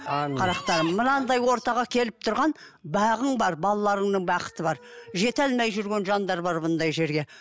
қарақтарым мынандай ортаға келіп тұрған бағың бар балаларының бақыты бар жете алмай жүрген жандар бар бұндай жерге